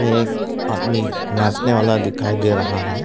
एक आदमी नाचने वाला दिखाई दे रहा है।